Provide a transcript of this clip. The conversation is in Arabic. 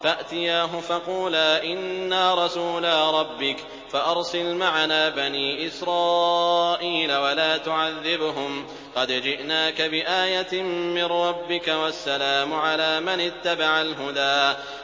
فَأْتِيَاهُ فَقُولَا إِنَّا رَسُولَا رَبِّكَ فَأَرْسِلْ مَعَنَا بَنِي إِسْرَائِيلَ وَلَا تُعَذِّبْهُمْ ۖ قَدْ جِئْنَاكَ بِآيَةٍ مِّن رَّبِّكَ ۖ وَالسَّلَامُ عَلَىٰ مَنِ اتَّبَعَ الْهُدَىٰ